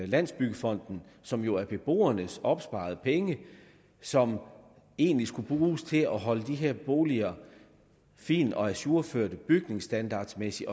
landsbyggefonden som jo er beboernes opsparede penge og som egentlig skulle bruges til at holde de her boliger fine og ajourførte bygningsstandardmæssigt